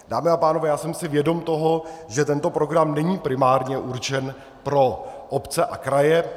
Dámy a pánové, já jsem si vědom toho, že tento program není primárně určen pro obce a kraje.